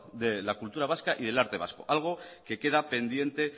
de la cultura vasca y el arte vasco algo que queda pendiente